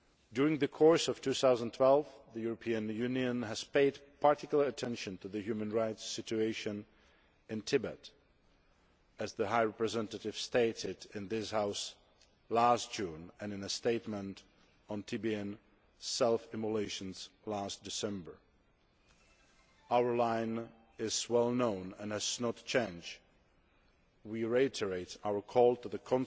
During 2012, the European Union paid particular attention to the human rights situation in Tibet, as the High Representative pointed out in this House last June and in a statement on Tibetan self immolations last December. Our line is well known and has not changed we reiterate our call to the